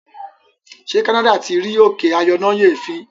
ṣe canada tí rí òkè ayọnáyèéfín?